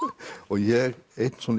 ég einn